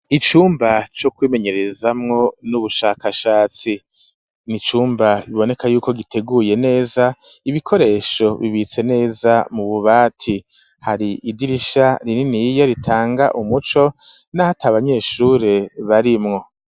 Icumba co kwimenyerezamwo n'ubushakashatsi n'icumba kiboneka yuko giteguye neza ibikoresho bibitse neza mu bubati hari idirisha rininiya ritanga umuco naho atabanyeshure barimwo.